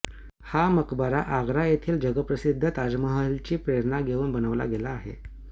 हा मकबरा आगरा येथील जगप्रसिद्ध ताजमहलाची प्रेरणा घेऊन बनवला गेला आहे